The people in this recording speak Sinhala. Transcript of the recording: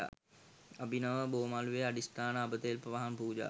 අබිනව බෝ මළුවේ අධිෂ්ඨාන අබ තෙල් පහන් පූජාව